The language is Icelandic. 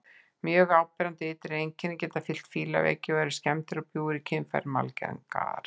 Mjög áberandi ytri einkenni geta fylgt fílaveiki og eru skemmdir og bjúgur í kynfærum algengar.